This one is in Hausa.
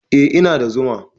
Eh, ina da zuma